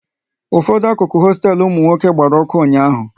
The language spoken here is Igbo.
Ụfọdụ akụkụ hosteelu ụmụ nwoke gbara ọkụ ụnyaahụ